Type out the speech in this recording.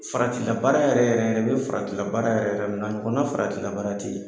Faratila baara yɛrɛ yɛrɛ i bɛ faratila baara yɛrɛ yɛrɛ min dɔn, a ɲɔgɔnna faratila baara tɛ yen.